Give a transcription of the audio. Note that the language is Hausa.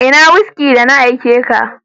Ina "whisky "da na aike ka?